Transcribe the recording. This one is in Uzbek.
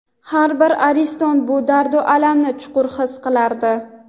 har bir ariston bu dardu alamni chuqur his qilardi.